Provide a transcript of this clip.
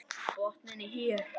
Botninn er hér!